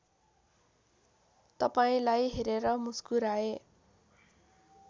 तपाईँलाई हेरेर मुस्कुराए